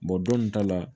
dɔn nin ta la